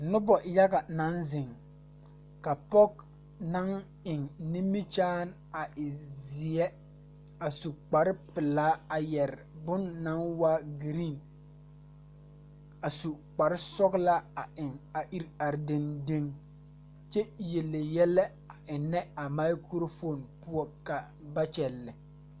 Nobɔ yaga naŋ zeŋ ka pɔge naŋ eŋ nimikyaane a e zeɛ a su kparepelaa a yɛre bon naŋ waa green a su kparesɔglaa a eŋ a ire are deŋdeŋ kyɛ yele yɛlɛ a eŋnɛ a mikurofoon poɔ ka ba kyɛllɛ.